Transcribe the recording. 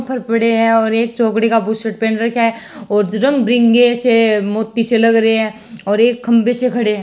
और एक चौकड़ी का बुसट पेहेन रखे है और रंग बिरंगी से मोती से लग रहे है और एक खम्बे से खड़े है।